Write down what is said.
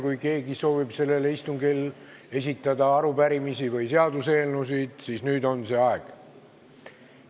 Kui keegi soovib sellel istungil esitada arupärimisi või seaduseelnõusid, siis nüüd on see aeg.